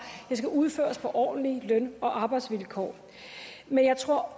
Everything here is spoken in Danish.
skal udføres på ordentlige løn og arbejdsvilkår men jeg tror